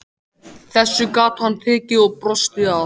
Þessu gat hann tekið og brosti að.